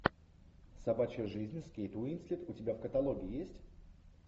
собачья жизнь с кейт уинслет у тебя в каталоге есть